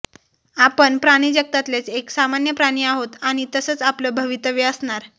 आपण प्राणिजगतातलेच एक सामान्य प्राणी आहोत आणि तसंच आपलं भवितव्य असणार